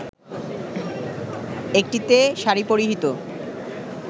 একটিতে শাড়ি পরিহিত